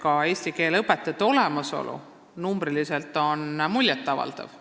Ka eesti keele õpetajate arv on muljet avaldav.